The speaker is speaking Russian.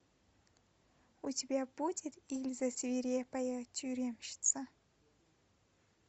у тебя будет ильза свирепая тюремщица